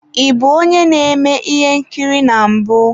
Ị bụ onye na-eme ihe nkiri na mbụ?